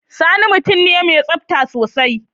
Sani mutum ne mai tsafta sosai.